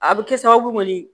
A bɛ kɛ sababu kɔni ye